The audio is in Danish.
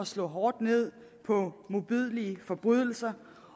slå hårdt ned på modbydelige forbrydelser